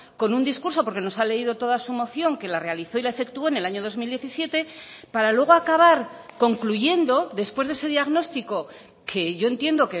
con un discurso porque nos ha leído toda su moción que la realizó y la efectuó en el año dos mil diecisiete para luego acabar concluyendo después de ese diagnóstico que yo entiendo